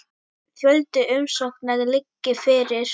Fjöldi umsókna liggi fyrir.